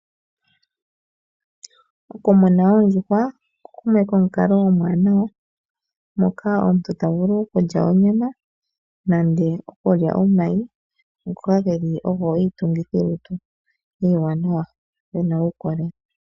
Okumuna oondjuhwa oko omukalo omwaanawa. Omuntu ota vulu okulya onyama nenge omayi ngoka ogo iitungithi yolutu iiwanawa yina uukolele.